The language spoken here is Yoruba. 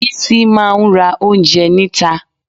Bísí máa ra oúnjẹ níta